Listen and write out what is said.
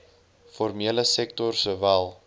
formele sektor sowel